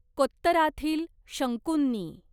कोत्तराथील शंकूंनी